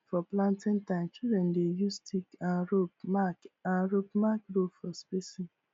for planting time children dey use stick and rope mark and rope mark row for spacing